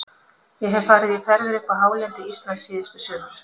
Ég hef farið í ferðir upp á hálendi Íslands síðustu sumur.